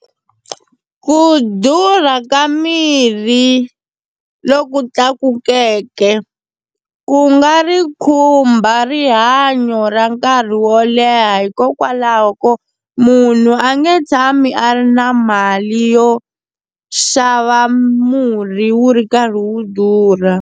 Ku durha ka mirhi loku tlakukeke ku nga ri khumba rihanyo ra nkarhi wo leha hikokwalaho ko munhu a nge tshami a ri na mali yo xava murhi wu ri karhi wu durha.